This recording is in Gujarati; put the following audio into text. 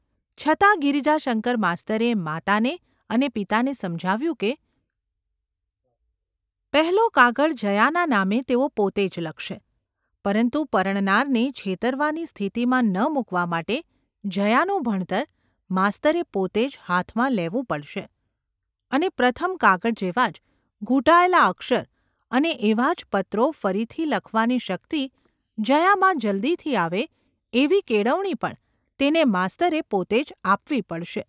છતાં ગિરિજાશંકર માસ્તરે માતાને અને પિતાને સમજાવ્યું કે પહેલો કાગળ જયાના નામે તેઓ પોતે જ લખશે; પરંતુ પરણનારને છેતરવાની સ્થિતિમાં ન મુકવા માટે જયાનું ભણતર માસ્તરે ​ પોતે જ હાથમાં લેવું પડશે, અને પ્રથમ કાગળ જેવા જ ઘૂંટાયેલા અક્ષર અને એવા જ પત્રો ફરીથી લખવાની શક્તિ જયામાં જલદીથી આવે એવી કેળવણી પણ તેને માસ્તરે પોતે જ આપવી પડશે.